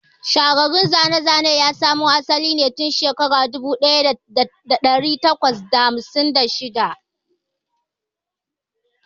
Shahararrun zane-zanen ya samo asali ne tun shekara ta dubu ɗaya da ɗari takwas da hamsin da shida.